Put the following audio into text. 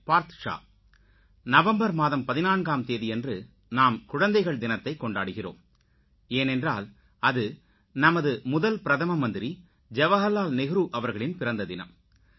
birth ஷா November மாதம் 14ஆம் தேதியன்று நாம் குழந்தைகள் தினத்தைக் கொண்டாடுகிறோம் ஏனென்றால் அது நமது முதல் பிரதமர் ஜவகர்லால் நேரு அவர்களின் பிறந்ததினம்